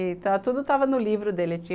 Então, tudo estava no livro dele.